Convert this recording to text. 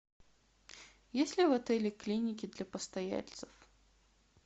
есть ли в отеле клиники для постояльцев